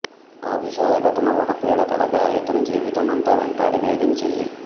ఆ విషాద ఘటన ఒక పీడకలగా ఇతని జీవితమంతా వెంటాడి వేధించింది